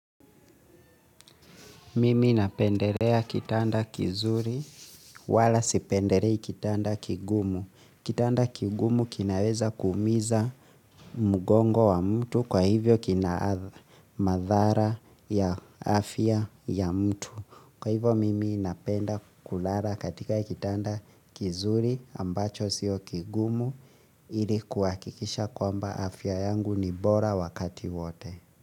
Mimi napendelea kitanda kizuri wala si pendelei kitanda kigumu. Kitanda kigumu kinaweza kuumiza mgongo wa mtu kwa hivyo kina madhara ya afya ya mtu. Kwa hivyo mimi napenda kulala katika kitanda kizuri ambacho sio kigumu ili kuhakikisha kwamba afya yangu ni bora wakati wote.